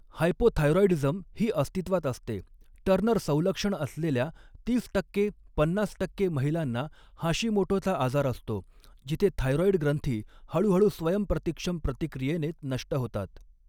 Hypothyroidism ही अस्तित्वात असते, टर्नर संलक्षण असलेल्या तीस टक्के ते पन्नास टक्के महिलांना हाशिमोटोचा आजार असतो, जिथे थायराॅइड ग्रंथी हळूहळू स्वयंप्रतिक्षम प्रतिक्रियेने नष्ट होतात.